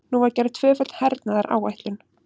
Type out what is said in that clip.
Nú var gerð tvöföld hernaðaráætlun.